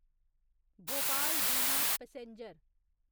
भोपाल बिना पैसेंजर